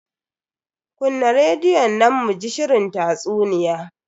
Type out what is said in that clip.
Kunna rediyon nan muji shirin tatsuniya.